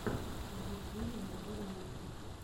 в ютьюбе найди ремиксы